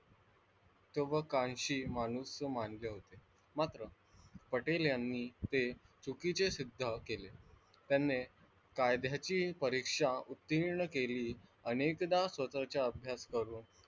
महत्वकांशी माणूस मानले होते, मात्र पटेल यांनी ते चुकीचं सिद्ध केले, त्यांनी कायद्याची परीक्षा उत्तीर्ण केली अनेकदा स्वतःच्या अभ्यास करून,